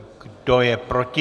Kdo je proti?